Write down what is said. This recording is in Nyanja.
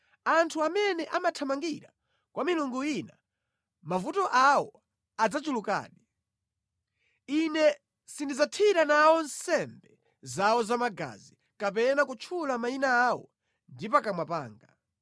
Anthu amene amathamangira kwa milungu ina mavuto awo adzachulukadi. Ine sindidzathira nawo nsembe zawo zamagazi kapena kutchula mayina awo ndi pakamwa panga.